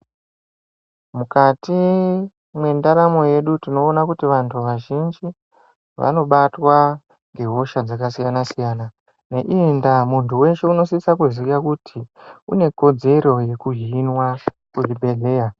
Mukati mwendaramo yedu tinoona kuti vantu vazhinji vanobatwa nehosha dzakasiyana siyana. Neiyi ndaa tinoona kuti muntu weshe unosisa kuziya kuti une kodzero yekuhinwa kuzvibhedhleya.